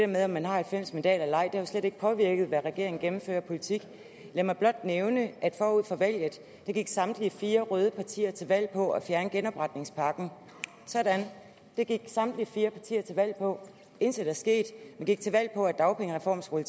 med om man har halvfems mandater eller ej har jo slet ikke påvirket hvad regeringen har gennemført af politik lad mig blot nævne at forud for valget gik samtlige fire røde partier til valg på at fjerne genopretningspakken sådan det gik samtlige fire partier til valg på intet er sket man gik til valg på at dagpengereformen skulle